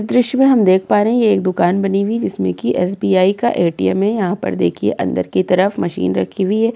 इस दृश्य में हम देख पा रहे हैं ये एक दुकान बनी हुई है जिसमें की एसबीआई का एटीएम है। यहाँ पर देखिये अंदर की तरफ मशीन रखी हुई है।